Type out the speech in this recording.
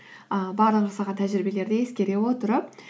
ыыы барлық жасаған тәжірибелерді ескере отырып